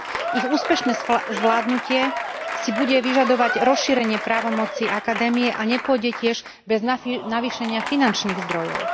Ich úspešné zvládnutie si bude vyžadovať rozšírenie právomoci akadémie a nepôjde tiež bez navýšenia finančných zdrojov.